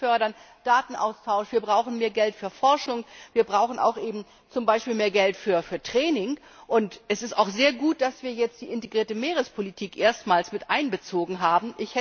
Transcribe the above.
Wir müssen Datenaustausch fördern, wir brauchen mehr Geld für Forschung, wir brauchen zum Beispiel auch mehr Geld für Training, und es ist auch sehr gut, dass wir jetzt die integrierte Meerespolitik erstmals miteinbezogen haben.